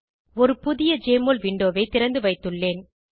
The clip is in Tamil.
ஒரு புதிய ஜெஎம்ஒஎல் விண்டோவை திறந்துவைத்துள்ளேன்